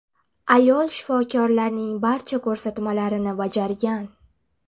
Ayol shifokorlarning barcha ko‘rsatmalarini bajargan.